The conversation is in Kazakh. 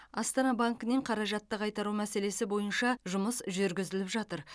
астана банкінен қаражатты қайтару мәселесі бойынша жұмыс жүргізіліп жатыр